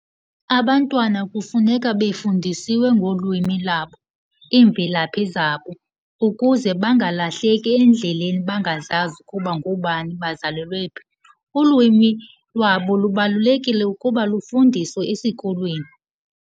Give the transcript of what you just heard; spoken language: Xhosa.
Abantwana kufuneka befundisiwe ngolwimi labo, iimvelaphi zabo ukuze bangalahleki endleleni bangazazi ukuba ngoobani bazalelwe phi. Ulwimi lwabo lubalulekile ukuba lufundiswe esikolweni.